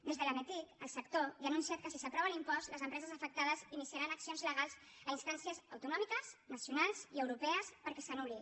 des de l’ametic el sector ja ha anunciat que si s’aprova l’impost les empreses afectades iniciaran accions legals a instàncies autonò miques nacionals i europees perquè s’anul·li